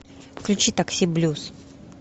включи такси блюз